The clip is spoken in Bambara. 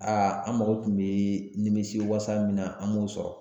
an mako tun bɛ nimisiwasa min na an m'o sɔrɔ